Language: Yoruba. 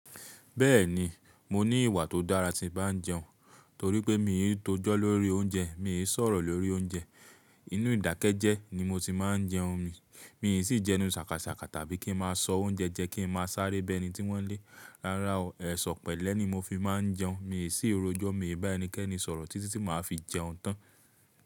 Bẹ́ẹ̀ni, mo ní ìwà tó dára tí ń bá jẹun, torí pé mi i tó jọ́ lórí oúnjẹ, mi ò sọ̀rọ̀ lórí oúnjẹ. Inú ìdákẹ́ jẹ ni mo ti máa ń jẹun mi, mi sì jẹnu ṣàkàṣàkà tàbí kí ń má a sọ oúnjẹ jẹ kí ń má a sáré bé ẹni tí wọ́n lé. Rárá o, ẹ̀ṣọ pẹ̀lẹ́ ni mo fi máa ń jẹun, mi ò sì ro jọ́ mi bá ẹnikẹ́ni sọ̀rọ̀ títí tí màá fi jẹun tán.